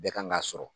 Bɛɛ kan k'a sɔrɔ